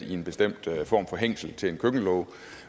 i en bestemt form for hængsel til en køkkenlåge